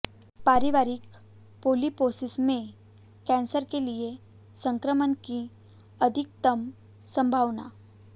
पारिवारिक पोलीपोसिस में कैंसर के लिए संक्रमण की अधिकतम संभावना